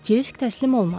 Kris təslim olmadı.